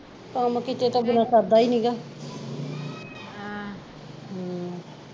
ਮੱਕੀ ਚ ਤਾਂ ਬਿਨਾਂ ਸਰਦਾ ਈ ਨੀ ਹੈਗਾ ਹਮ